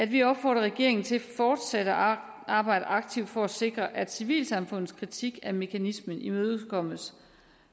vi opfordrer regeringen til fortsat at arbejde aktivt for at sikre at civilsamfundets kritik af mekanismen imødekommes